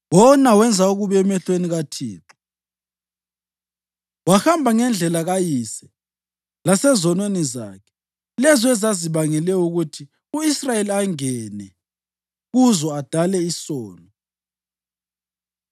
Wona wenza okubi emehlweni kaThixo, wahamba ngendlela kayise lasezonweni zakhe, lezo ezazibangele ukuthi u-Israyeli angene kuzo adale isono.